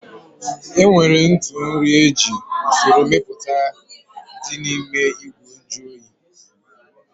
Enwere ntụ nri ji eji usoro mepụta dị n'ime ìgwè nju oyi